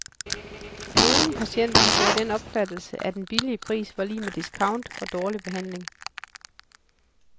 Nogle patienter har fået den opfattelse, at den billige pris var lig med discount og dårlig behandling.